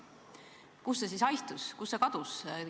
Kuhu see siis haihtus, kuhu see kadus?